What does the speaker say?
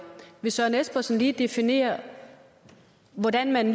vil søren espersen lige definere hvordan man